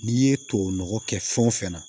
N'i ye tubabu nɔgɔ kɛ fɛn o fɛn na